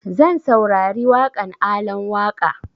Zan saurari waƙan Alan Waƙa